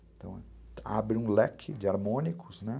abre um leque de harmônicos, né?